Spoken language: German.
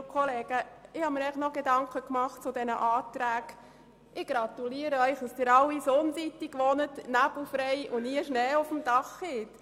Ich gratuliere Ihnen dazu, dass Sie alle auf der Sonnenseite wohnen, nebelfrei, und nie Schnee auf dem Dach haben!